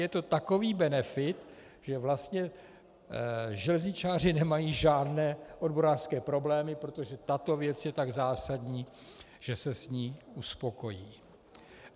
Je to takový benefit, že vlastně železničáři nemají žádné odborářské problémy, protože tato věc je tak zásadní, že se s ní uspokojí.